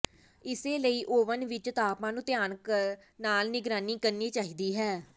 ਇਸੇ ਲਈ ਓਵਨ ਵਿੱਚ ਤਾਪਮਾਨ ਨੂੰ ਧਿਆਨ ਨਾਲ ਨਿਗਰਾਨੀ ਕਰਨੀ ਚਾਹੀਦੀ ਹੈ